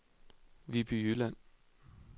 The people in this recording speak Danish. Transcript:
Viby Jylland